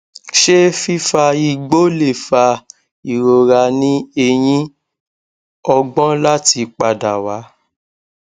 se fifa igbo le fa irora ni eyin ogbon lati pada wa